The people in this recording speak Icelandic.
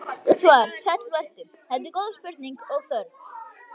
Svar: Sæll vertu, þetta eru góð spurning og þörf.